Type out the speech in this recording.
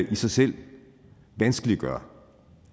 i sig selv vanskeliggør